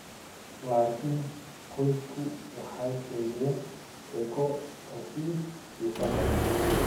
Laakiin qoysasku waxay sheegeen sheeko ka sii xiiso badan.